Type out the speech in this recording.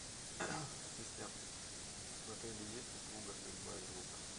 ассистент в отеле есть услуга стрельба из лука